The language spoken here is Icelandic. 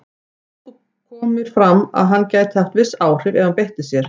Þó kom fram að hann gæti haft viss áhrif ef hann beitti sér.